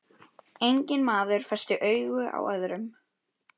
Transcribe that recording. Enginn maður festi augu á öðrum.